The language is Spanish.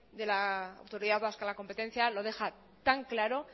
de la autoridad vasca a la competencia lo deja tan claro